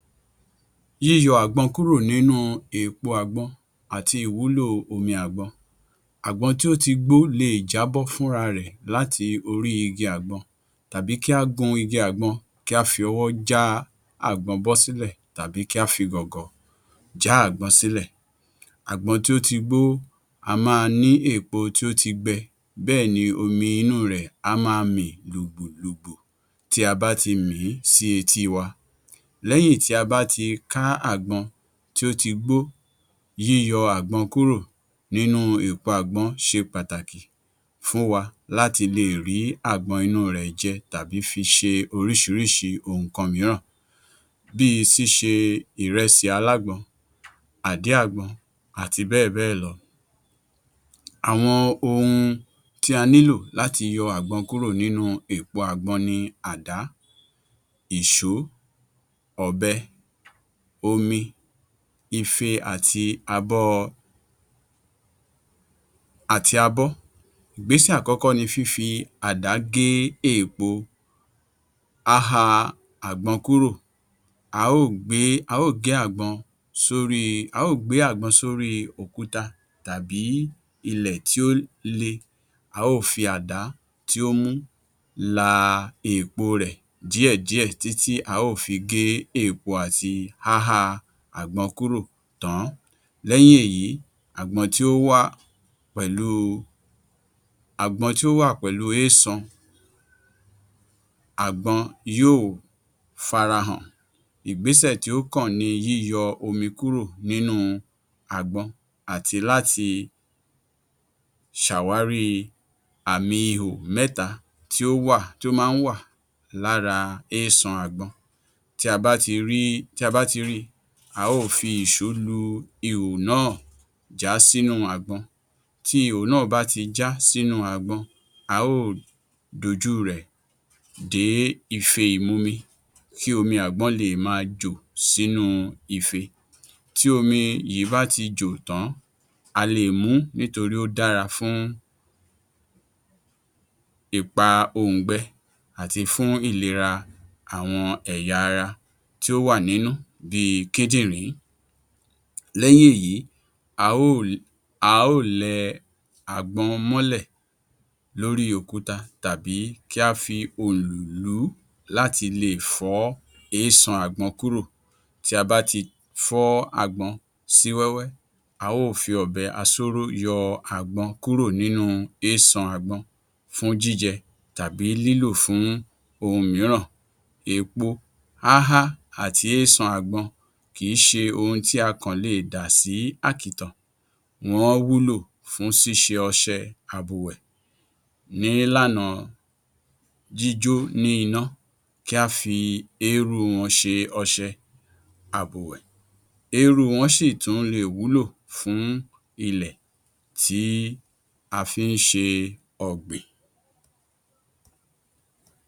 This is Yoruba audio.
Yíyọ àgbọn kúrò nínú èèpo àgbọn àti ìwúlò omi àgbọn. Àgbọn tí ó ti gbó le è jábọ́ fún ra rẹ̀ láti orí igi àgbọn tàbí kí a gun igi àgbọn kí á fi ọwọ́ já àgbọn bọ́ sílẹ̀ tàbí kí a fi gọ̀ǹgọ̀ já àgbọn sílẹ̀. Àgbọn tí ó ti gbó á máa ní èèpo tí ó ti gbẹ bẹ́ẹ̀ ni omi inú u rẹ̀ á máa mì lògbòlògbò tí a bá ti mì í sí etí i wa, léyìn tí a bá ti ká àgbọn tí ó ti gbó yíyọ àgbọn kúrò nínú èèpo àgbọn ṣe pàtàkì fún wa láti le è rí àgbọn inú u rẹ̀ jẹ tàbí fi ṣe oríṣiriṣi nǹkan mìíràn bí i síse ìrẹsì alágbọn, àdín àgbọn àti béẹ̀ bẹ́ẹ̀ lọ. Àwọn ohun tí a nílò láti yọ àgbọn kúrò nínú èèpo àgbọn ni àdá, ìṣó, ọ̀bẹ, omi, ife àti abọ́. Ìgbésẹ̀ àkọ́kọ́ ni fífi àdá gé èèpo, háha àgbọn kúrò, a ó ò gbé àgbọn sí orí òkúta tàbí ilẹ̀ tí ó le, a ó ò fi àdá tí ó mú la èèpo rẹ̀ díẹ̀ díẹ̀ títí a ó ò fi gé èèpo àti háhá àgbọn kúrò tán. Lẹ́yìn èyí àgbọn tó wà pẹ̀lú eésan, àgbọn yóò farahàn. Ìgbésẹ̀ tí ó kàn ni yíyọ omi kúrò nínú àgbọn àti láti ṣàwárí àmì ihò mẹ́ta tí ó máa ń wà lára eésan àgbọn tí a bá ti rí i, a ó ò fi ìṣó lu ihò náà já sí inú àgbọn tí ihò náà bá ti já sínú àgbọn a ó ò dojú rẹ̀ dé ife ìmumi kí omi àgbọn le è máa jò sínú ife, tí omi i yìí bá ti jò tán a le è mú nítorí ó dára fún ipa òǹgbẹ àti fún ìlera àwọn ẹ̀yà ara tí ó wà nínú bí i Kídìrín, lẹ́yìn èyí a ó ò lẹ àgbọn mọ́lẹ̀ lórí òkúta tàbí kí á fi òlù lú láti le è fọ́ eésan àgbọn kúrò tí a bá ti fọ́ àgbọn sí wẹ́wẹ́, a ó ò fi ọ̀bẹ asóró yọ àgbọn kúrò nínú eésan àgbọn fúń jíjẹ tàbí lílò fún ohun mìíràn èèpo háhá àti eésan àgbọn kìí ṣe ohun tí a kàn lè dà sí àkìtàn wọ́n wúlò fún ṣíṣe ọṣẹ àbùwẹ̀ ní ìlànà jíjó ní iná, kí a fi eérú wọn ṣe ọṣẹ àbùwẹ̀, eérú wọn sì tún le è wúlò fún ilẹ̀ tí a fí ń ṣe ọ̀gbìn.